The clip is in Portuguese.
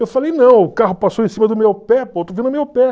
Eu falei, não, o carro passou em cima do meu pé, pô, eu estou vendo o meu pé.